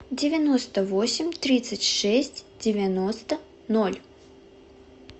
девяносто восемь тридцать шесть девяносто ноль